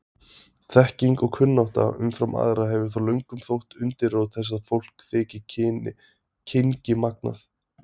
Þekking og kunnátta umfram aðra hefur þó löngum þótt undirrót þess að fólk þyki kynngimagnað.